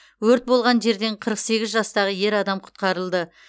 өрт болған жерден қырық сегіз жастағы ер адам құтқарылды